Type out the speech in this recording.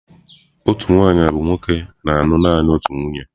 Otu nwaanyị bụ nwoke na-alụ naanị otu nwunye.